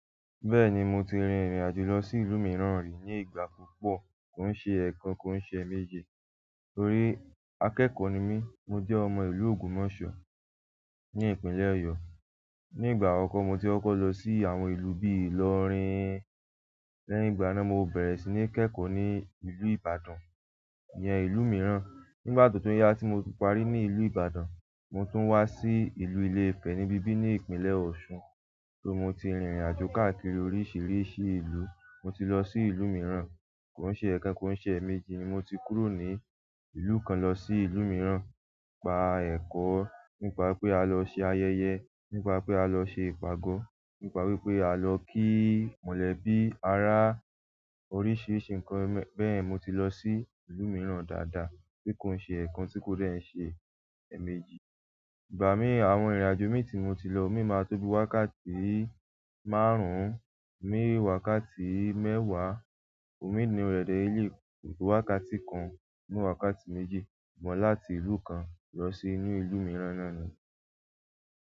Bẹ́ẹ̀ni mo ti rìn ìrìnàjò lọ sí ìlú míràn ri ní ìgbà púpọ̀, kò kín ṣé ẹekan kí ṣé è méjì tórí akẹ́kọ̀ọ́ ni mí, mo jẹ́ ọmọ ìlú Ògbomoso ní ìpínlẹ̀ Ọ̀yọ́. Ní ìgbà akọkọ mo tí kọ́kọ́ lọ sí àwọn ìlú bíi Ilorin lẹ́yìn ìgbà náà mo bẹ̀rẹ̀ sí ní kẹ́kọ̀ọ́ ní ìlú Ìbàdàn ìyẹn ìlú mìíràn. Nígbà tó tún yá tí mo ti parí ní ìlú Ìbàdàn, mo tún wá sí ìlú Ilé-Ifẹ̀ níbí bí ní ìpínlẹ̀ Ọ̀ṣun. Só mo ti rìnrìnàjò káàkiri oríṣìíríṣìí ìlú. Mo ti lọ sí ìlú mìíràn, kìn ṣe ẹ̀kan kìn ṣe é méjì. Mo tí kúrò ní ìlú kàn lọ sí ìlú mìíràn, gbà ẹ́kọ nípa pé a lọ ṣé ayẹyẹ, nípa wípé a lọ ṣé ìpàdé, nípa wípé a lọ ṣé ayẹyẹ. Mo tí lọ sí ìlú mìíràn dáadáa tí kò kín ṣé ẹekan tí kò kín dé ṣe éméjì. Ìgbà mìíràn àwọn ìrìnàjò mi tí mo ti lọ, mí máa tóbi wákàtí márùn-ún, ò mí wákàtí mẹ́wàá, ò mí nínú rẹ dé lé lèyí ko to wákàtí kan ò mí wákàtí méjì. Ṣùgbọ́n láti ìlú kàn lọ sí inú ìlú mìíràn noni.